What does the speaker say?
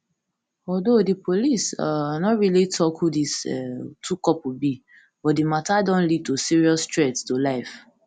although di police um no really tok who dis um two couple be but di matter don lead to serious threat to life